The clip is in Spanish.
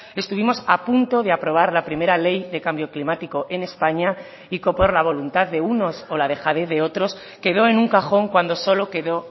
estuvimos a punto de aprobar la primera ley de cambio climático en españa y que por la voluntad de unos o la dejadez de otros quedó en un cajón cuando solo quedó